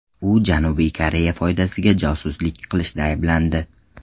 U Janubiy Koreya foydasiga josuslik qilishda ayblandi.